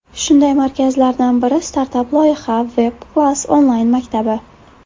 Shunday markazlardan biri startap loyiha Webclass onlayn maktabi.